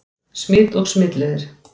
Smit og smitleiðir